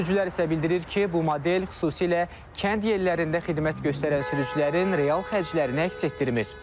Sürücülər isə bildirir ki, bu model xüsusilə kənd yerlərində xidmət göstərən sürücülərin real xərclərini əks etdirmir.